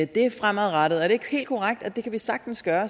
det fremadrettet er det helt korrekt at vi sagtens kan